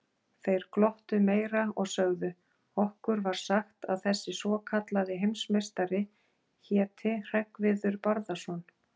Þeir glottu meira og sögðu: Okkur var sagt að þessi svokallaði heimsmeistari héti Hreggviður Barðason.